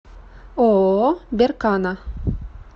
ооо беркана